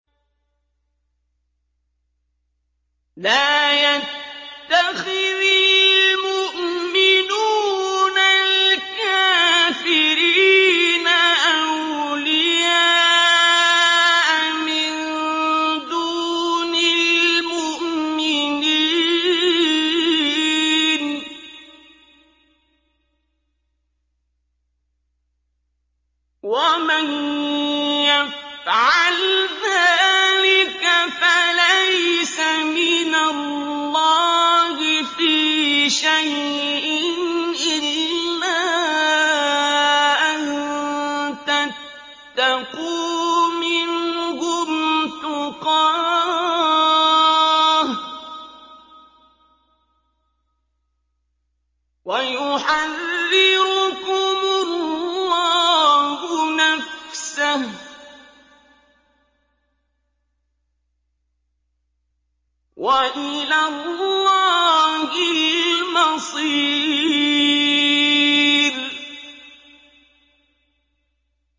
لَّا يَتَّخِذِ الْمُؤْمِنُونَ الْكَافِرِينَ أَوْلِيَاءَ مِن دُونِ الْمُؤْمِنِينَ ۖ وَمَن يَفْعَلْ ذَٰلِكَ فَلَيْسَ مِنَ اللَّهِ فِي شَيْءٍ إِلَّا أَن تَتَّقُوا مِنْهُمْ تُقَاةً ۗ وَيُحَذِّرُكُمُ اللَّهُ نَفْسَهُ ۗ وَإِلَى اللَّهِ الْمَصِيرُ